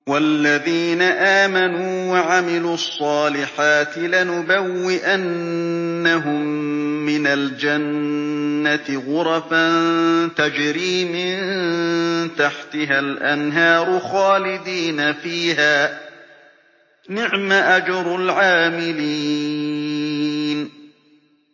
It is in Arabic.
وَالَّذِينَ آمَنُوا وَعَمِلُوا الصَّالِحَاتِ لَنُبَوِّئَنَّهُم مِّنَ الْجَنَّةِ غُرَفًا تَجْرِي مِن تَحْتِهَا الْأَنْهَارُ خَالِدِينَ فِيهَا ۚ نِعْمَ أَجْرُ الْعَامِلِينَ